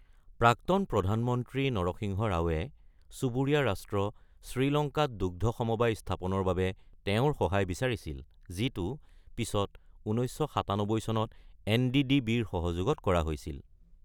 প্ৰাক্তন প্ৰধানমন্ত্ৰী নৰসিংহ ৰাওৱে চুবুৰীয়া ৰাষ্ট্ৰ শ্ৰীলংকাত দুগ্ধ সমবায় স্থাপনৰ বাবে তেওঁৰ সহায় বিচাৰিছিল যিটো পিছত ১৯৯৭ চনত এন.ডি.ডি.বি.ৰ সহযোগত কৰা হৈছিল।